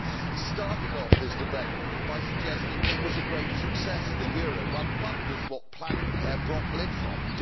He started off this debate by suggesting it was a great success the euro. One wonders what planet Herr Brok lives on.